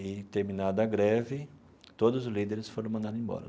e, terminada a greve, todos os líderes foram mandados embora.